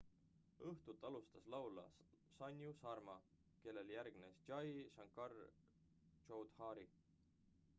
õhtut alustas laulja sanju sharma kellele järgnes jai shankar choudhary